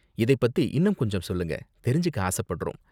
இதை பத்தி இன்னும் கொஞ்சம் சொல்லுங்க, தெரிஞ்சுக்க ஆசப்படறோம்.